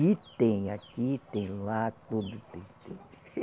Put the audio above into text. E tem aqui, tem lá, tudo tem, tem.